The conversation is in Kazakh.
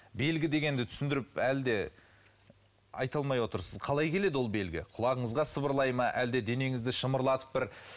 белгі дегенді түсіндіріп әлі де айта алмай отырсыз қалай келеді ол белгі құлағыңызға сыбырлай ма әлде денеңізді шымырлатып бір